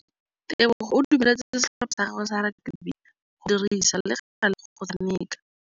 Tebogô o dumeletse setlhopha sa gagwe sa rakabi go dirisa le galê go tshameka.